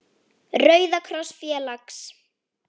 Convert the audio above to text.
Rauða kross félags.